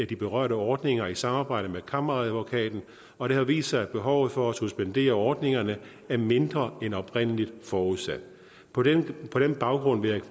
de berørte ordninger i samarbejde med kammeradvokaten og det har vist sig at behovet for at suspendere ordningerne er mindre end oprindelig forudsat på den baggrund vil